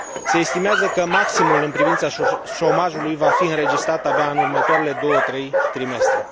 Se estimează că maximul în privința șomajului va fi înregistrat abia în următoarele două trei trimestre.